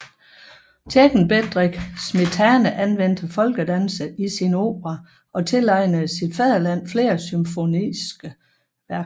Tjekken Bedrich Smetana anvendte folkedanse i sine operaer og tilegnede sit fædreland flere symfoniske værker